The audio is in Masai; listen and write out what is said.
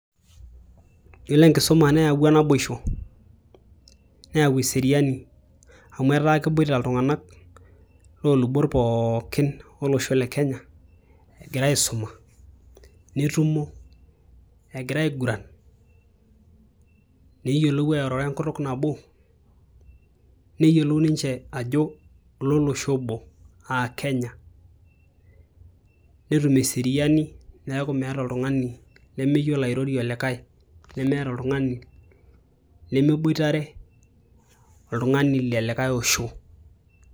yiolo enkisuma neyawua naboisho neyau eseriani amu etaa keboita iltung'anak loolubot pookin olosho le kenya egira aisuma netumo egira aiguran neyiolou airoro enkutuk nabo neyiolou ninche aajo lolosho obo aa kenya netum eseriani neeku meeta oltung'ani lemeyiolo airorie olikae nemeeta oltung'ani lemeboitare oltung'ani lelikae osho.